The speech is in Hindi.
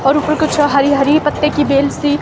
और ऊपर कुछ हरी हरी पत्ते की बेल सी--